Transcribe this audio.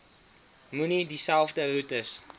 moenie dieselfde roetes